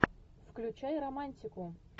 включай романтику